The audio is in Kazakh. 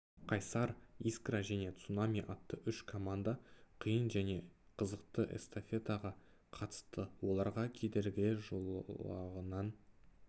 қайсар искра және цунами атты үш команда қиын және қызықты эстафетаға қатысты олар кедергілер жолағынан